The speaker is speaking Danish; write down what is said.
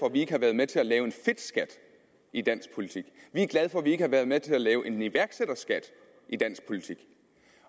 at vi ikke har været med til at lave en fedtskat i dansk politik vi er glade for at vi ikke har været med til at lave en iværksætterskat i dansk politik